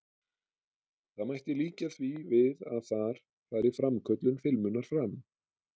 Það mætti líkja því við að þar fari framköllun filmunnar fram.